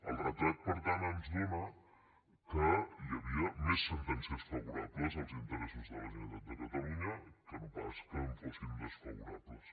el retrat per tant ens dóna que hi havia més sentències favorables als interessos de la generalitat de catalunya que no pas que hi fossin desfavorables